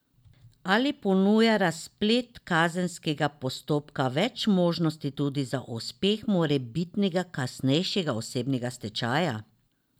Ali ponuja razplet kazenskega postopka več možnosti tudi za uspeh morebitnega kasnejšega osebnega stečaja?